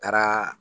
Taara